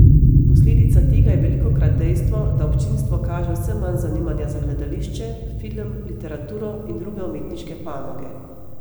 Posledica tega je velikokrat dejstvo, da občinstvo kaže vse manj zanimanja za gledališče, film, literaturo in druge umetniške panoge.